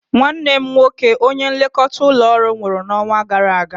Nnwanne nwoke onye nlekọta ụlọ ọrụ nwụrụ n'ọnwa gara aga.